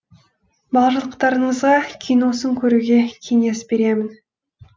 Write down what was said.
барлықтарыңызға киносын көруге кеңес беремін